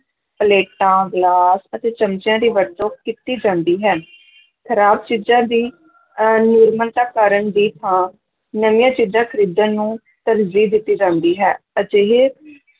ਪਲੇਟਾਂ, ਗਲਾਸ ਅਤੇ ਚਮਚਿਆਂ ਦੀ ਵਰਤੋਂ ਕੀਤੀ ਜਾਂਦੀ ਹੈ ਖ਼ਰਾਬ ਚੀਜਾਂ ਦੀ ਅਹ ਮੁਰੰਮਤ ਕਰਨ ਦੀ ਥਾਂ ਨਵੀਆਂ ਚੀਜ਼ਾਂ ਖ਼ਰੀਦਣ ਨੂੰ ਤਰਜੀਹ ਦਿੱਤੀ ਜਾਂਦੀ ਹੈ, ਅਜਿਹੇ